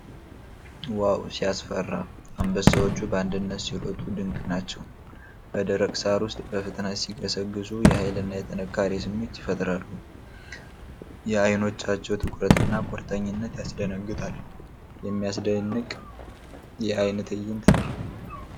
ዋው ሲያስፈራ! አንበሳዎቹ በአንድነት ሲሮጡ ድንቅ ናቸው። በደረቅ ሳር ውስጥ በፍጥነት ሲገሰግሱ የኃይል እና የጥንካሬ ስሜት ይፈጥራሉ። የዓይኖቻቸው ትኩረት እና ቁርጠኝነት ያስደነግጣል። የሚያስደንቅ የአደን ትዕይንት ነው!